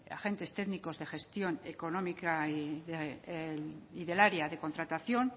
agentes técnicos de gestión económica y del área de contratación